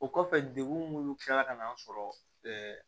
O kɔfɛ degun munnu kila ka n'an sɔrɔ